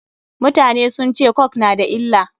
Mutane sun ce coke na da illa.